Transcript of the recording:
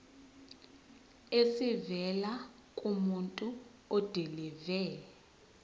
esivela kumuntu odilive